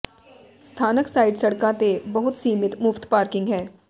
ਸਥਾਨਕ ਸਾਈਡ ਸੜਕਾਂ ਤੇ ਬਹੁਤ ਸੀਮਿਤ ਮੁਫ਼ਤ ਪਾਰਕਿੰਗ ਹੈ